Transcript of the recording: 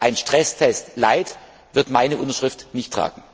Rat. Ein Stresstest light wird meine Unterschrift nicht tragen!